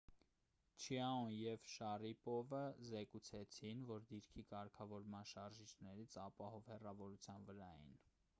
չիաոն և շարիպովը զեկուցեցին որ դիրքի կարգավորման շարժիչներից ապահով հեռավորության վրա էին